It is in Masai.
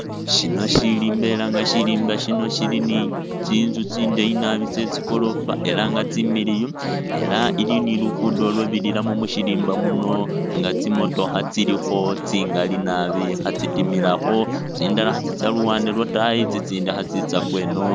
Shino shirimba elanga shirimba shino shili ni tsintsu tsindayi naabi tsetsigolofa elanga tsimiliyu ela ilini lukudo lwabirilamu mushirimba muno nga tsimotokha tsilikho tsingali naabi khatsitimilakho tsindala khatsitsa luwande lwatayi tsitsindi khatsitsa kweno